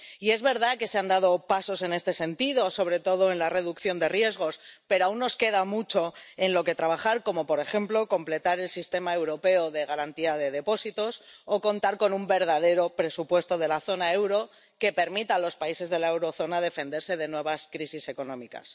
Y es verdad que se han dado pasos en este sentido, sobre todo en la reducción de riesgos, pero aún nos queda mucho en lo que trabajar como, por ejemplo, completar el sistema europeo de garantía de depósitos o contar con un verdadero presupuesto de la zona euro que permita a los países de la eurozona defenderse de nuevas crisis económicas.